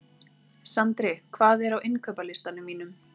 Sandri, hvað er á innkaupalistanum mínum?